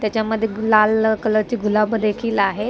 त्याच्यामध्ये लाल कलर ची गुलाब देखील आहेत.